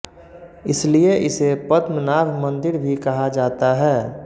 इसलिए इसे पद्मनाभ मंदिर भी कहा जाता है